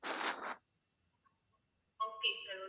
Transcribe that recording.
okay sir okay